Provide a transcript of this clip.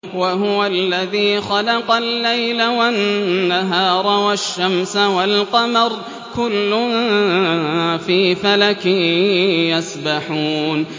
وَهُوَ الَّذِي خَلَقَ اللَّيْلَ وَالنَّهَارَ وَالشَّمْسَ وَالْقَمَرَ ۖ كُلٌّ فِي فَلَكٍ يَسْبَحُونَ